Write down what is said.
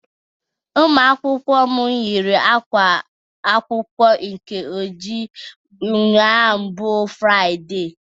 Ụmụakwụkwọ m yiri ákwá akwụkwọ nke ojii ụnyaahụ bụ Fraịde